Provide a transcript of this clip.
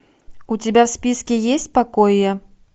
у тебя в списке есть покоя